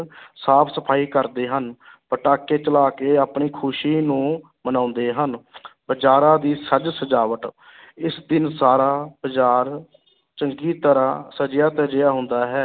ਸਾਫ਼ ਸਫ਼ਾਈ ਕਰਦੇ ਹਨ ਪਟਾਕੇ ਚਲਾ ਕੇ ਆਪਣੀ ਖ਼ੁਸ਼ੀ ਨੂੰ ਮਨਾਉਂਦੇ ਹਨ ਬਜ਼ਾਰਾਂ ਦੀ ਸਜ ਸਜਾਵਟ ਇਸ ਦਿਨ ਸਾਰਾ ਬਾਜ਼ਾਰ ਚੰਗੀ ਤਰ੍ਹਾਂ ਸਜਿਆ ਧਜਿਆ ਹੁੰਦਾ ਹੈ